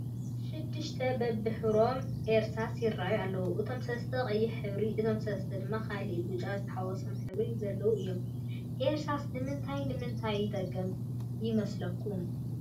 6+ በቢሕብሮም አርሳሳት ይራኣዩ ኣለው፡፡ እቶም 3+ ቀይሕ ሕብሪ፣ እቶም 3+ ድማ ካሊእ ብጫ ዝተሓወሰ ሕብሪ ዘለዎም እዮም፡፡ እርሳስ ንምንታይ ንምንታይ ይጠቅም ይመስለኩም?